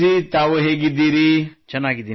ಮಯೂರ್ ತಾವು ಹೇಗಿದ್ದೀರಿ